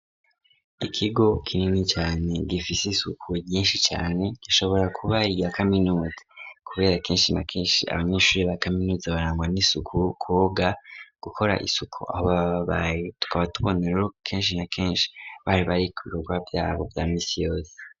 Ikigo kinini cane gifiseisuku ryinshi cane gishobora kubari igya kaminuzi, kubera kenshi na kenshi abanyinshuri ba kaminuzi barangwa n'isuku koga gukora isuku aho bababaye tukaba tubonerero kenshi na kenshi baribari ku birorwa vyabo vya misiyose.